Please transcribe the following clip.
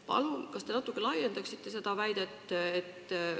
Palun, kas te natuke laiendaksite seda väidet?